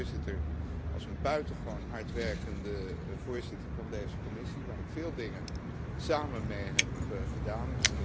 Ik ken de voorzitter als een buitengewoon hardwerkende voorzitter van deze commissie, met wie ik veel dingen samen heb gedaan.